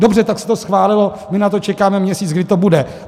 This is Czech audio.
Dobře, tak se to schválilo, my na to čekáme měsíc, kdy to bude.